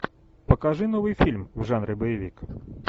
покажи новый фильм в жанре боевик